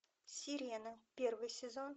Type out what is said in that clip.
сирена первый сезон